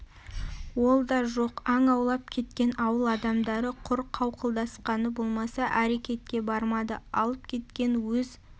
ол да жоқ аң аулап кеткен ауыл адамдары құр қауқылдасқаны болмаса әрекетке бармады алып кеткен өз